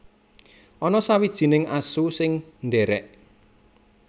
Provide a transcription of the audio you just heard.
Ana sawijining asu sing ndhèrèk